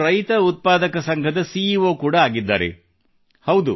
ಇವರು ಒಂದು ರೈತರ ಉತ್ಪಾದಕ ಸಂಘದ ಸಿಈಓ ಕೂಡಾ ಆಗಿದ್ದಾರೆ